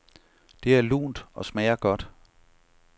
Det er lunt og smager godt.